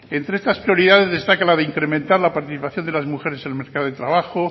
entre esas prioridades destaca la de incrementar la participación de las mujeres en el mercado de trabajo